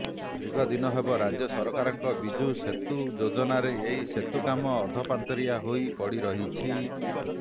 ଦୀର୍ଘ ଦିନ ହେବ ରାଜ୍ୟ ସରକାରଙ୍କ ବିଜୁ ସେତୁ ଯୋଜନାର ଏହି ସେତୁ କାମ ଅଧପନ୍ତରିୟା ହେଇ ପଡିରହିଛି